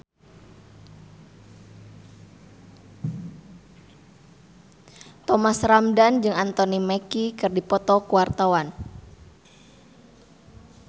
Thomas Ramdhan jeung Anthony Mackie keur dipoto ku wartawan